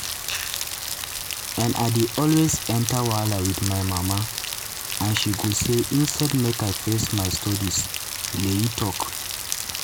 and i dey always enta wahala wit my mama and she go say instead make i dey face my studies" layi tok.